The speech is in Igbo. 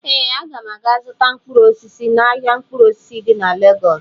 Ee, aga m aga zụta mkpụrụ osisi n'ahịa mkpụrụ osisi di na Legọs